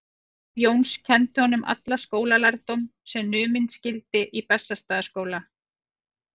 Faðir Jóns kenndi honum allan skólalærdóm sem numinn skyldi í Bessastaðaskóla.